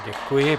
Děkuji.